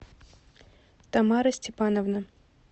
тамара степановна